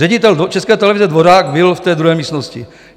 Ředitel České televize Dvořák byl v té druhé místnosti.